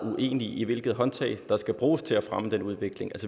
uenige i hvilke håndtag der skal bruges til at fremme den udvikling